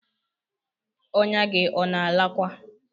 Ọ̀nya gi ona alakwa?